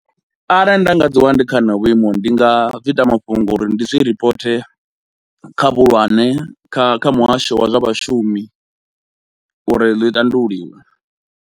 Arali nda nga dzi wana ndi kha honoho vhuimo ndi nga zwi ita mafhungo uri ndi zwi ripote kha vhuhulwane, kha kha muhasho wa zwa vhashumi uri ḽi tandululiwe.